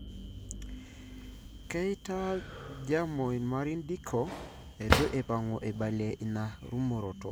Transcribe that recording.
Keita, Japo Imam Dicko etu eipangu aibalie ina rumoroto.